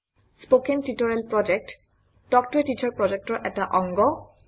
কথন শিক্ষণ প্ৰকল্প তাল্ক ত a টিচাৰ প্ৰকল্পৰ এটা অংগ